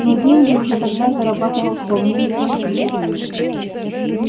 но деньги уже тогда зарабатывал вполне неплохие